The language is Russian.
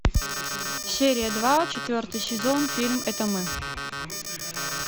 серия два четвертый сезон фильм это мы